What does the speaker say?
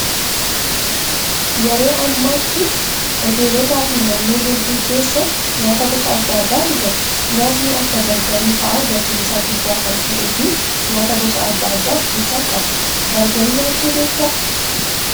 Yeroo ammaatti hoteelotaa fi manneen hedduu keessa nyaata gosa adda addaatu jira. Nyaatni akka bargarii fa'aa gatiin isaa guddaa kan ta'ee fi nyaata gosa adda addaa of keessaa qaba. Bargarii nyaattee beektaa?